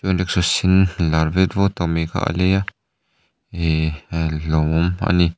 rickshaw sen lar vet vawt tak mai kha a lei a ehh lawmawm a ni.